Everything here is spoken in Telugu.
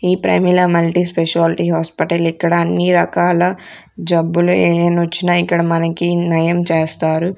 ఈ ప్రమీల మల్టీ స్పెషాలిటీ హాస్పిటల్ ఇక్కడ అన్ని రకాల జబ్బులు ఎనోచ్చినా ఇక్కడ మనకి నయం చేస్తారు.